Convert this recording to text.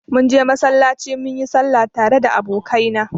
Munje masallaci munyi sallah tare da abokaina.